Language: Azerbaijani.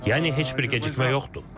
Yəni heç bir gecikmə yoxdur.